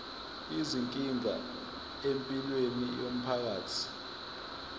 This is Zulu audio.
izinkinga empilweni yomphakathi